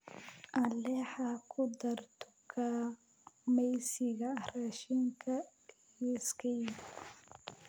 alexa ku dar dukaamaysiga raashinka liiskayga